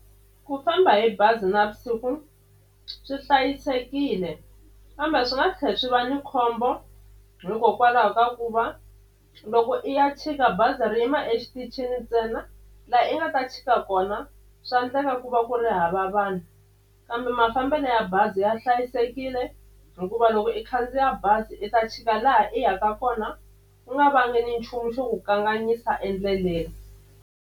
Ku famba hi bazi navusiku swi hlayisekile kambe swi nga tlhe swi va ni khombo hikokwalaho ka ku va loko i ya chika bazi ri yima exitichini ntsena la i nga ta chika na kona swa ndleka ku va ku ri hava vanhu kambe mafambelo ya bazi ya hlayisekile hikuva loko i khandziya bazi i ta chika laha i yaka kona ku nga vangi nchumu xo ku kanganyisa endleleni.